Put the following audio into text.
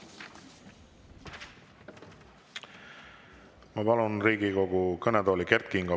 Ma palun Riigikogu kõnetooli Kert Kingo.